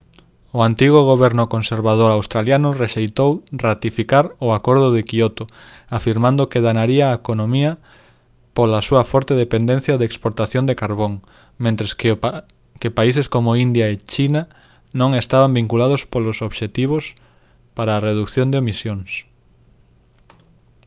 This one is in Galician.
o antigo goberno conservador australiano rexeitou ratificar o acordo de quioto afirmando que danaría a economía pola súa forte dependencia da exportación de carbón mentres que países como india e china non estaban vinculados polos obxectivos para a redución de emisións